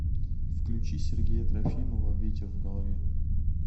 включи сергея трофимова ветер в голове